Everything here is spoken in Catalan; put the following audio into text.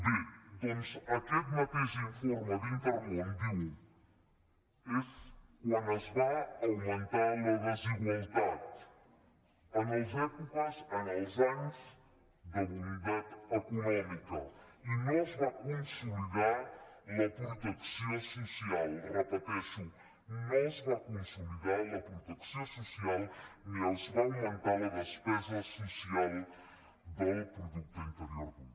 bé doncs aquest mateix informe d’intermón diu és quan es va augmentar la desigualtat en els anys de bondat econòmica i no es va consolidar la protecció social ho repeteixo no es va consolidar la protecció social ni es va augmentar la despesa social del producte interior brut